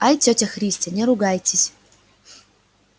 ай тётя христя не ругайтесь